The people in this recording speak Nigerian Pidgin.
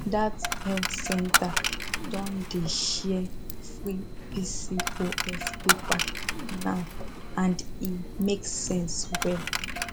that health center don dey share free pcos paper now and e make sense well